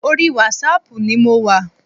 Orí wásaàpù ni mo wà.